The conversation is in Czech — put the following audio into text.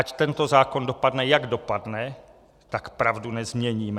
Ať tento zákon dopadne, jak dopadne, tak pravdu nezměníme.